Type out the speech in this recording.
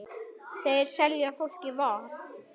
Þeir selja fólki von.